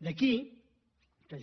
d’aquí